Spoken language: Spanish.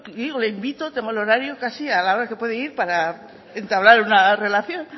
yo le invito tengo el horario casi a la hora que puede ir para entablar una relación